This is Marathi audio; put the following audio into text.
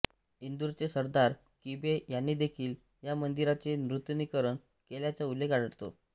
इंदूरचे सरदार किबे यांनीदेखील या मंदिराचे नूतनीकरण केल्याचा उल्लेख आढळतो